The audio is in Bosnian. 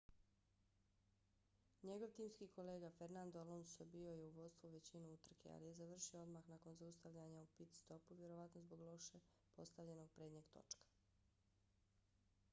njegov timski kolega fernando alonso bio je u vodstvu većinu utrke ali je završio odmah nakon zaustavljanja u pit-stopu vjerojatno zbog loše postavljenog prednjeg točka